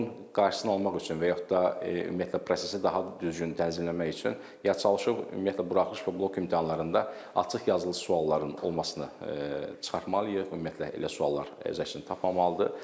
Bunun qarşısını almaq üçün və yaxud da ümumiyyətlə prosesi daha düzgün tənzimləmək üçün ya çalışıb ümumiyyətlə buraxılış və blok imtahanlarında açıq yazılı sualların olmasını çıxartmalıyıq, ümumiyyətlə elə suallar öz əksini tapmamalıdır.